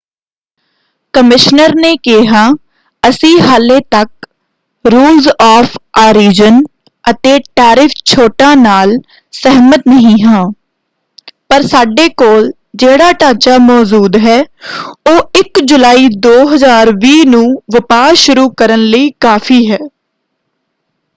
Commissioner ਨੇ ਕਿਹਾ,” ਅਸੀਂ ਹਾਲੇ ਤੱਕ ਰੂਲਜ਼ ਆਫ ਆਰੀਜਨ ਅਤੇ ਟੈਰਿਫ ਛੋਟਾਂ ਨਾਲ ਸਹਿਮਤ ਨਹੀਂ ਹਾਂ ਪਰ ਸਾਡੇ ਕੋਲ ਜਿਹੜਾ ਢਾਂਚਾ ਮੌਜੂਦ ਹੈ ਉਹ 1 ਜੁਲਾਈ 2020 ਨੂੰ ਵਪਾਰ ਸ਼ੁਰੂ ਕਰਨ ਲਈ ਕਾਫ਼ੀ ਹੈ”।